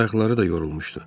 Ayaqları da yorulmuşdu.